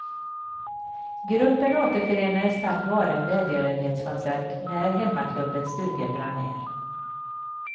Gruppen återförenades tack vare en välgörenhetskonsert när hemmaklubbens stuga brann ner.